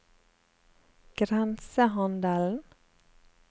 grensehandelen